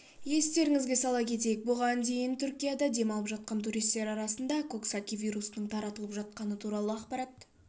естеріңізге сала кетейік бұған дейін түркияда демалып жатқан туристер арасында коксаки вирусының таралып жатқаны туралы ақпарат